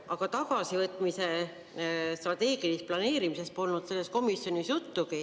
Aga tagasivõitmise strateegilisest planeerimisest polnud selles komisjonis juttugi.